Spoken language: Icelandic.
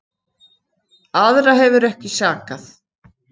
Aðra hefur ekki sakað